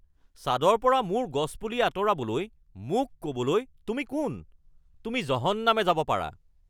ছাদৰ পৰা মোৰ গছপুলি আঁতৰাবলৈ মোক ক’বলৈ তুমি কোন? তুমি জহন্নামে যাব পাৰা